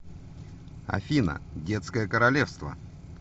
афина детское королевство